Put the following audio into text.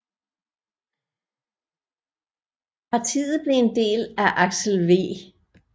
Partiet blev en del af Aksel V